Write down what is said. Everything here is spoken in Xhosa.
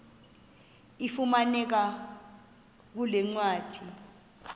ifumaneka kule ncwadi